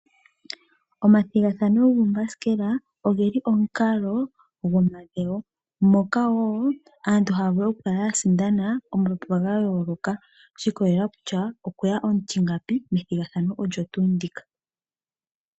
Omathigathano goombasikela ogeli omukalo gwomadhewo ngoka wo aantu haya vulu oku kala ya sindana omapapa ga yooloka, shi ikolelela kutya okweya omutingapi.